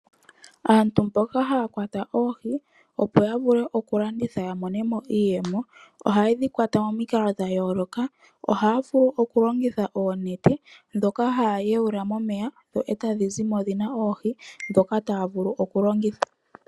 Aantu mboka haya kwata oohi opo ya vule oku landitha ya monemo iiyemo, ohaye dhi kwata momikalo dha yooloka. Ohaya vulu okulongitha oonete ndhoka haya yawula momeya etadhi zimo dhina oohi ndhoka taya vulu okulongitha